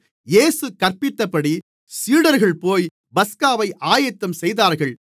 இயேசு கற்பித்தபடி சீடர்கள்போய் பஸ்காவை ஆயத்தம் செய்தார்கள்